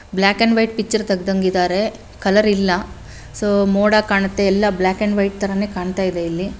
Block and white picture ತೆಗ್ದನ್ಗೆ ಇದ್ದಾರೆ colour ಇಲ್ಲ ಸೊ ಮೋಡ ಕಾಣುತ್ತೆ ಎಲ್ಲ ಬ್ಲಾಕ್ ಅಂಡ್ ವೈಟ್ ತರಾನೇ ಕಾಣ್ತಾಯಿದೆ ಇಲ್ಲಿ.